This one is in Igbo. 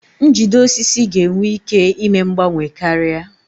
Njide osisi ga-enwe ike ime mgbanwe karịa.